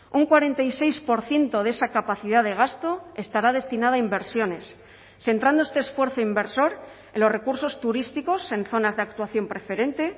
un cuarenta y seis por ciento de esa capacidad de gasto estará destinada a inversiones centrando este esfuerzo inversor en los recursos turísticos en zonas de actuación preferente